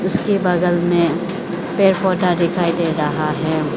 उसके बगल में पेड़ पौधा दिखाई दे रहा है।